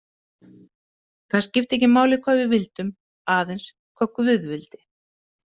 Það skipti ekki máli hvað við vildum, aðeins hvað guð vildi.